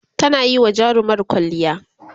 tana Yi wa jarumar kwalliya